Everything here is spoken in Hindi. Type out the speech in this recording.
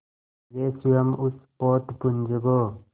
वे स्वयं उस पोतपुंज को